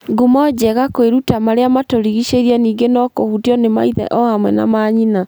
Ngumo njega kwĩruta marĩa matugĩshĩriĩ ningĩ no kũhutio nĩ maithe o hamwe na maanyina.